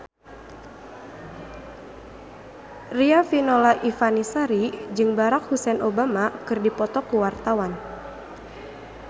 Riafinola Ifani Sari jeung Barack Hussein Obama keur dipoto ku wartawan